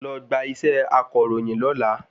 Lọ gba isẹ́ akàròyìn lọ́la